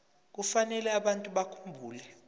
kufanele abantu bakhumbule